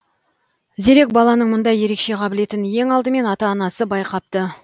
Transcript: зерек баланың мұндай ерекше қабілетін ең алдымен ата анасы байқапты